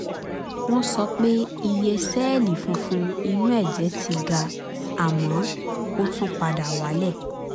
wọ́n sọ pé iye sẹ́ẹ̀lì funfun inú ẹ̀jẹ̀ ti ga àmọ́ ó tún padà wálẹ̀